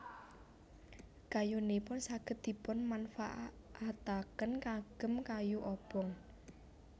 Kayunipun saged dipunmanfaataken kagem kayu obong